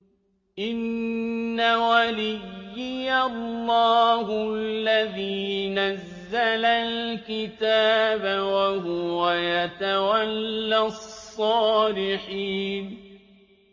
إِنَّ وَلِيِّيَ اللَّهُ الَّذِي نَزَّلَ الْكِتَابَ ۖ وَهُوَ يَتَوَلَّى الصَّالِحِينَ